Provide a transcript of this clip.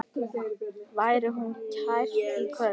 Veri hún kært kvödd.